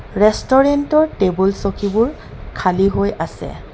Restaurant ৰ table চকীবোৰ খালী হৈ আছে।